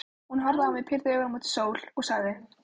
Hún horfði á hann, pírði augun mót sól og sagði: